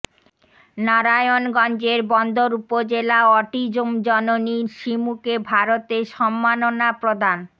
নারায়ণগঞ্জের বন্দর উপজেলা অটিজম জননী সিমুকে ভারতে সম্মাননা প্রদান